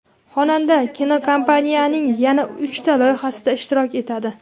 Xonanda kinokompaniyaning yana uchta loyihasida ishtirok etadi.